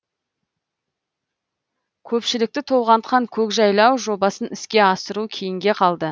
көпшілікті толғантқан көкжайлау жобасын іске асыру кейінге қалды